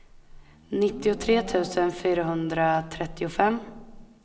nittiotre tusen fyrahundratrettiofem